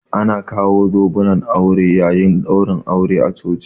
Ana kawo zobunan aure yayin ɗaurin aure a coci